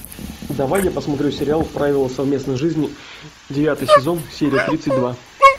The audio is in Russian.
давай я посмотрю сериал правила совместной жизни девятый сезон серия тридцать два